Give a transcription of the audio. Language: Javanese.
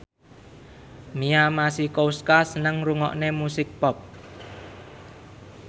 Mia Masikowska seneng ngrungokne musik pop